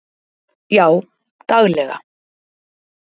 Já daglega.